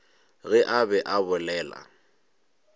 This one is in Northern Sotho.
ge a be a bolela